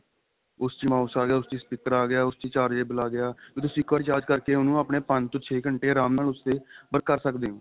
ਉਸ ਚ ਹੀ mouse ਆ ਗਿਆ ਉਸ ਚ ਹੀ speaker ਅ ਗਿਆ ਉਸ ਚ ਹੀ chargeable ਆ ਗਿਆ ਤੁਸੀਂ ਇੱਕ ਵਾਰੀ charge ਕਰਕੇ ਉਨੂੰ ਆਪਣੇ ਪੰਜ ਤੋਂ ਛੇ ਘੰਟੇ ਆਰਾਮ ਨਾਲ ਉਸ ਦੇ ਕਰ ਸਕਦੇ ਓ